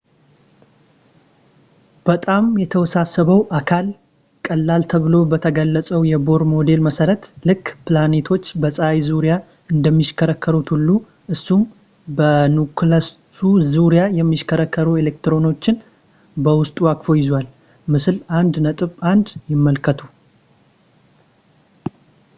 በጣም የተወሳሰበው አካል ቀለል ተብሎ በተገለፀው የቦር ሞዴል መሰረት ልክ ፕላኔቶች በፀሀይ ዙርያ እንደሚሽከረከሩት ሁሉ እሱም በኒኩለሱ ዙሪያ የሚሽከረከሩ ኤሌክትሮኖችን በውስጡ አቅፎ ይዟል - ምስል 1.1 ይመልከቱ